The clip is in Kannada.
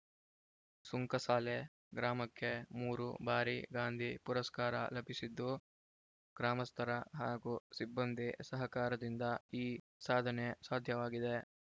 ಸುಂಕಸಾಲೆ ಗ್ರಾಮಕ್ಕೆ ಮೂರು ಬಾರಿ ಗಾಂಧಿ ಪುರಸ್ಕಾರ ಲಭಿಸಿದ್ದು ಗ್ರಾಮಸ್ಥರ ಹಾಗೂ ಸಿಬ್ಬಂದಿ ಸಹಕಾರದಿಂದ ಈ ಸಾಧನೆ ಸಾಧ್ಯವಾಗಿದೆ